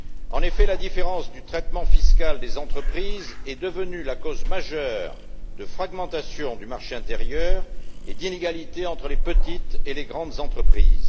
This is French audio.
En effet, la différence de traitement fiscal des entreprises est devenue la cause majeure de fragmentation du marché intérieur et d'inégalité entre les petites et les grandes entreprises.